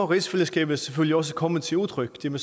rigsfællesskabet selvfølgelig også komme til udtryk det må